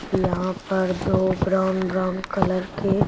यहां पर दो ब्राउन ब्राउन कलर के--